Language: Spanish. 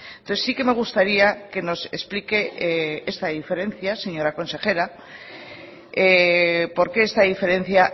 entonces sí que me gustaría que nos explique esta diferencia señora consejera por qué esta diferencia